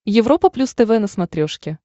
европа плюс тв на смотрешке